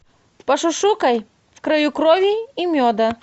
пошушукай в краю крови и меда